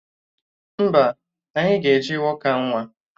Mba, anyị ga-eji wọka nwa